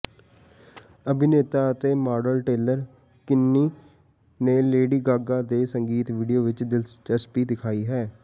ਅਭਿਨੇਤਾ ਅਤੇ model Taylor Kinney ਨੇ ਲੇਡੀ ਗਾਗਾ ਦੇ ਸੰਗੀਤ ਵੀਡੀਓ ਵਿਚ ਦਿਲਚਸਪੀ ਦਿਖਾਈ ਹੈ